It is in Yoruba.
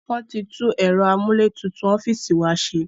Wọn tí tún ẹ̀rọ amúlétutù ọ́fíìsì wa ṣe